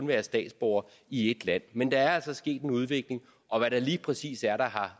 være statsborger i ét land men der er altså sket en udvikling og hvad det lige præcis er der har